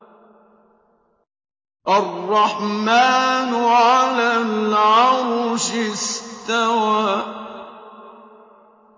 الرَّحْمَٰنُ عَلَى الْعَرْشِ اسْتَوَىٰ